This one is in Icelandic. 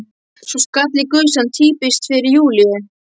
Svo skall á gusan: Týpiskt fyrir Júlíu!